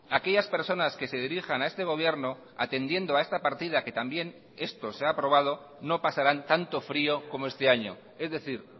aquellas personas que se dirijan a este gobierno atendiendo a esta partida que también esto se ha aprobado no pasarán tanto frio como este año es decir